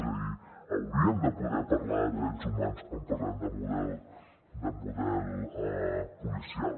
és a dir hauríem de poder parlar de drets humans quan parlem de model policial